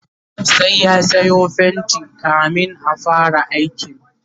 sai ya Sayo fainti kamin a Ida aikin